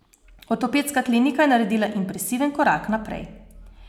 Ortopedska klinika je naredila impresiven korak naprej.